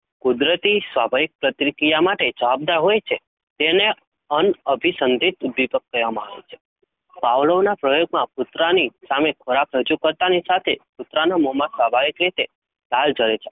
કુદરતી સ્વાભાવિક પ્રતિક્રિયા માટે જવાબદાર હોય છે તેને અન્ન અભિસંધિત ઉદ્દીપક કહેવામાં આવે છે. Pavlov ના પ્રયોગમાં કુતરાની સામે ખોરાક રજુ કરતાની સાથે કુતરાના મોમાં સ્વાભાવિક રીતે લાળ જરે છે